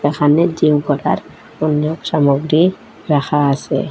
এখানে জিম করার অনেক সামগ্রী রাখা আসে।